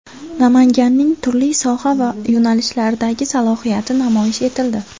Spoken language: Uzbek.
Namanganning turli soha va yo‘nalishlardagi salohiyati namoyish etildi.